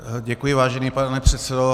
Děkuji, vážený pane předsedo.